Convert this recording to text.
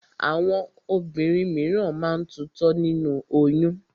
Àwọn obìnrin míràn máa ń tutọ́ nínú oyún.